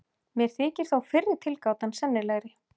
Mér þykir þó fyrri tilgátan sennilegri.